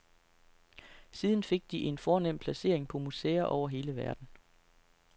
Siden fik de en fornem placering på museer over hele verden.